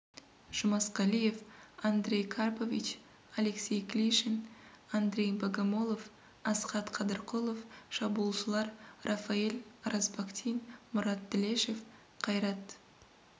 жұмасқалиев андрей карпович алексей клишин андрей богомолов асхат қадырқұлов шабуылшылар рафаэль оразбахтин мұрат тілешев қайрат